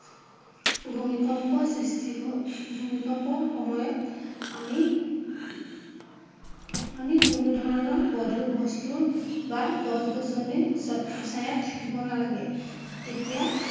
ভূমিকম্প সৃষ্টি হৈ ভূমিকম্পৰ সময়ত আমি আমি কোনোধৰণৰ গধুৰ বস্তু বা গছ-গছনি ছত্ৰ ছাঁয়াত থাকিব নালাগে। তেতিয়া